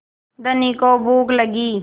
धनी को भूख लगी